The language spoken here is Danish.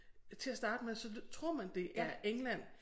Til at starte med så tror man det er England